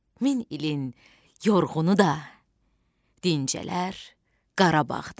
Min ilin yorğunu da dincələr Qarabağda.